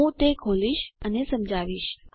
હું તે ખોલીશ અને સમજાવિશ